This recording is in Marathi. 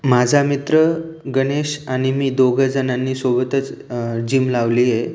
माझा मित्र गणेश आणि मी दोघ जणांनी सोबतच अ जीम लावलीये.